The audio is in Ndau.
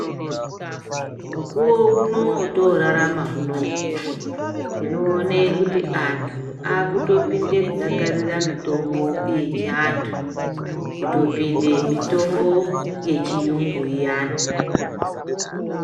Mukuwo uno wotorarama unowu tinoona kuti antu akutopinda kudakarira mutombo yechiantu. Kutopinde mitombo yechiyungu iyana.